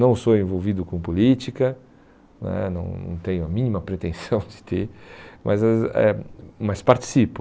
Não sou envolvido com política né, não não tenho a mínima pretensão de ter, mas as eh mas participo.